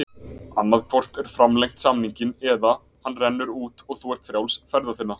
Annað hvort er framlengt samninginn eða hann rennur út og þú ert frjáls ferða þinna.